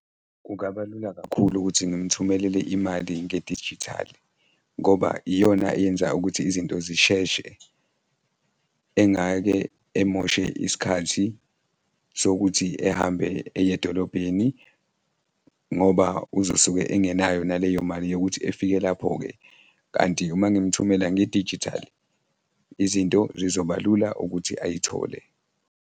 Kungaba lula kakhulu ukuthi ngimthumelele imali ngedijithali ngoba iyona eyenza ukuthi izinto zisheshe, engake emoshe isikhathi sokuthi ehambe eye edolobheni ngoba uzosuke engenayo naleyo mali yokuthi efike lapho-ke kanti uma ngimthumela ngedijithali, izinto zizoba lula ukuthi ayithole.